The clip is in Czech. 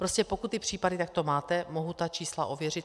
Prostě pokud ty případy takto máte, mohu ta čísla ověřit.